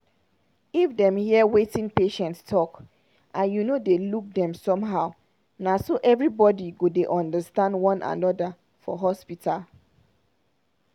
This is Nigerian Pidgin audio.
if dem hear wetin patient talk and you no dey look dem somehow na so everybody go dey understand one another for hospital.